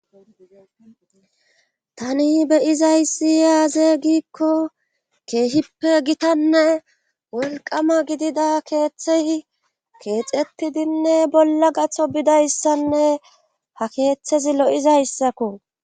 Tani beyizayssi yaaze giikko keehippe gitanne wolqama gidida keeththey keexetidinne bolla gatho bidayssanne ha keeththezi lo7izayssakko